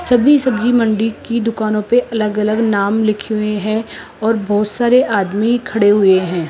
सभी सब्जी मंडी की दुकानों पे अलग अलग नाम लिखे हुए हैं और बहुत सारे आदमी खड़े हुए हैं।